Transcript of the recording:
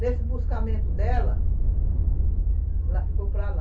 Nesse buscamento dela, ela ficou para lá.